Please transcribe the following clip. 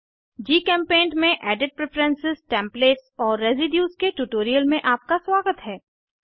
जीचेम्पेंट में edit preference templates और residues के ट्यूटोरियल में आपका स्वागत है